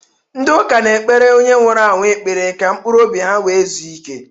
Ndị ụka na-ekpere onye nwụrụ anwụ ekpere ka mkpụrụ obi ya wee zuo ike.